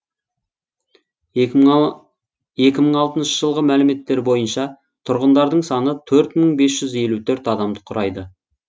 екі мың алтыншы жылғы мәліметтер бойынша тұрғындарының саны төрт мың бес жүз елу төрт адамды құрайды